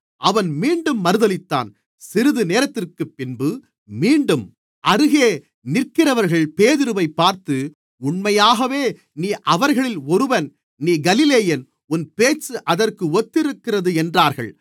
அவன் மீண்டும் மறுதலித்தான் சிறிதுநேரத்திற்குப்பின்பு மீண்டும் அருகே நிற்கிறவர்கள் பேதுருவைப் பார்த்து உண்மையாகவே நீ அவர்களில் ஒருவன் நீ கலிலேயன் உன் பேச்சு அதற்கு ஒத்திருக்கிறது என்றார்கள்